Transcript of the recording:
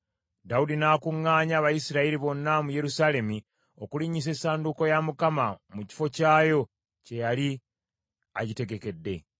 Dawudi n’akuŋŋaanya Abayisirayiri bonna mu Yerusaalemi, okulinnyisa essanduuko ya Mukama mu kifo kyayo kye yali agitegekedde.